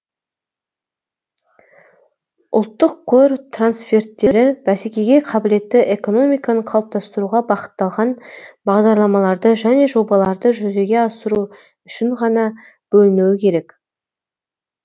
ұлттық қор трансферттері бәсекеге қабілетті экономиканы қалыптастыруға бағытталған бағдарламаларды және жобаларды жүзеге асыру үшін ғана бөлінуі керек